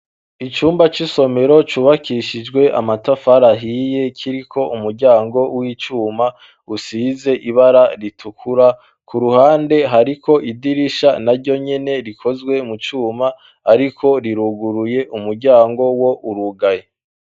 Icumba c'isomero cubakishijwe amatafari ahiye kiriko umuryango w'icuma usize ibara ritukura ku ruhande hariko idirisha na ryo nyene rikozwe mu cuma ariko riruguruye umuryango wo urugaye.